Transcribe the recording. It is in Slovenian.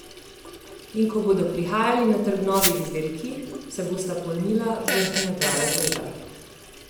In ko bodo prihajali na trg novi izdelki, se bosta polnila vrhnja dva razreda.